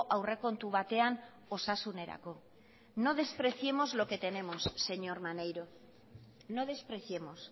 aurrekontu batean osasunerako no despreciemos lo que tenemos señor maneiro no despreciemos